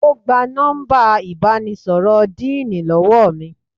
Ó gba nọ́mbà ìbánisọ̀rọ̀ díìnì lọ́wọ́ mi